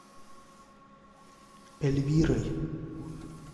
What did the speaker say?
эльвирой